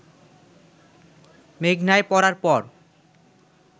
মেঘনায় পড়ার পর